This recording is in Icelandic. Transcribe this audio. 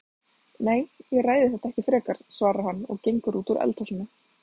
Nei, ég ræði þetta ekki frekar, svarar hann og gengur út úr eldhúsinu.